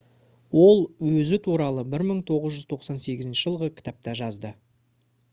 ол өзі туралы 1998 жылғы кітапта жазды